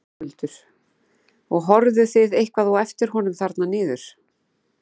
Höskuldur: Og horfðuð þið eitthvað á eftir honum þarna niður?